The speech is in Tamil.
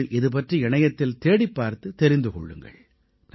நீங்கள் இதுபற்றி இணையத்தில் தேடிப்பார்த்துத் தெரிந்து கொள்ளுங்கள்